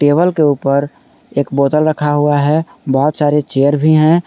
Table के ऊपर एक बोतल रखा हुआ है बहोत सारे चेयर भी हैं।